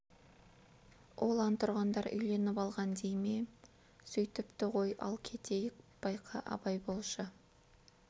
ол антұрғандар үйленіп алған дей ме е сөйтіпті ғой ал кетейік байқа абай болшы